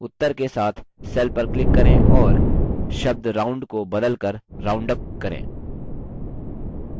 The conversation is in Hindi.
उत्तर के साथ cell पर click करें और शब्द round को बदल कर roundup करें